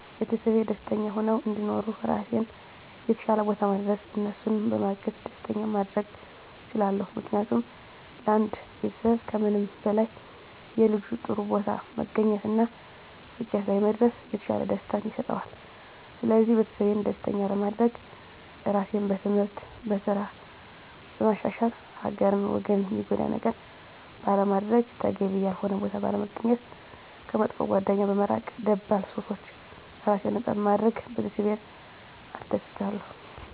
ቤተሰቤ ደስተኛ ሁነው እንዲኖሩ ራሴን የተሻለ ቦታ ማድረስ እነሱንም በማገዝ ደስተኛ ማድረግ እችላለሁ። ምክንያቱም ለአንድ ቤተሰብ ከምንም በላይ የልጁ ጥሩ ቦታ መገኘት እና ስኬት ላይ መድረስ የተሻለ ደስታን ይሰጠዋል ስለዚህ ቤተሰቤን ደስተኛ ለማድረግ ራሴን በትምህርት፣ በስራ በማሻሻል ሀገርን ወገንን ሚጎዳ ነገር ባለማድረግ፣ ተገቢ ያልሆነ ቦታ ባለመገኘት፣ ከመጥፎ ጓደኛ በመራቅ ከደባል ሱሶች ራሴን ነፃ በማድረግ ቤተሰቤን አስደስታለሁ።